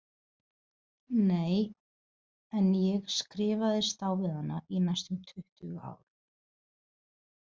Nei, en ég skrifaðist á við hana í næstum tuttugu ár.